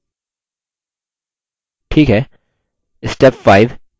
ठीक है step 5 choose layout